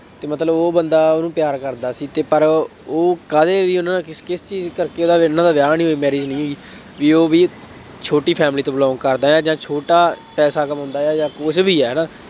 ਕਿ ਮਤਲਬ ਉਹ ਬੰਦਾ ਉਹਨੂੰ ਪਿਆਰ ਕਰਦਾ ਸੀ ਅਤੇ ਪਰ ਉਹ ਕਾਹਦੇ ਲਈ ਉਹਨਾ ਕਿਸ ਕਿਸ ਚੀਜ਼ ਕਰਕੇ ਉਹਦਾ ਉਹਨਾ ਦਾ ਵਿਆਹ ਨਹੀਂ ਹੋਇਆਂ marriage ਨਹੀਂ ਹੋਈ। ਬਈ ਉਹ ਵੀ ਛੋਟੀ family ਤੋਂ belong ਕਰਦਾ ਹੈ ਜਾਂ ਛੋਟਾ ਪੈਸਾ ਕਮਾਉਂਦਾ ਹੈ ਜਾਂ ਕੁੱਛ ਵੀ ਹੈ ਨਾ,